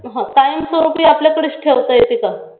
हां कायमस्वरुपी आपल्याकडेच ठेवता येते का?